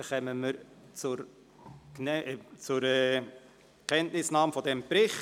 Wir kommen zur Kenntnisnahme des Berichts.